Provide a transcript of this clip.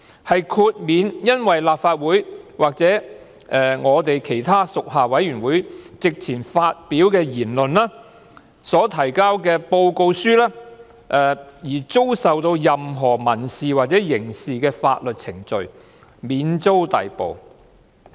他們不會因在立法會或其他屬下委員會席前發表的言論或所提交的報告書而遭受提出任何民事或刑事的法律訴訟，同時免遭逮捕。